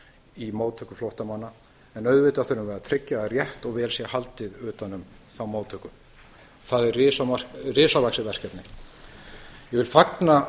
í móttöku flóttamanna en auðvitað þurfum við að tryggja að rétt og vel sé haldið utan um þá móttöku það er risavaxið verkefni ég fagna